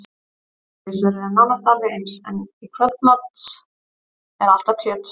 Hádegisverður er nánast alveg eins, en í kvöldmat er alltaf kjöt.